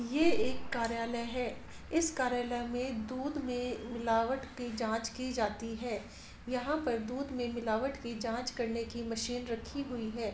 ये एक कार्यालय है इस कार्यालय में दूध में मिलावट की जाँच की जाती है यहाँ पर दूध में मिलावट की जाँच करने की मशीन रखी हुई है।